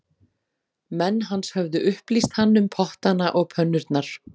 Menn hans höfðu upplýst hann um pottana og pönnurnar